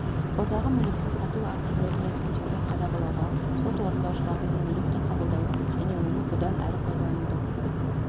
қордағы мүлікті сату актілерін рәсімдеуді қадағалауға сот орындаушыларынан мүлікті қабылдау және оны бұдан әрі пайдалануды